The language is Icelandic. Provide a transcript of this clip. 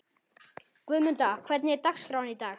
Guðmunda, hvernig er dagskráin í dag?